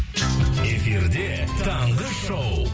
эфирде таңғы шоу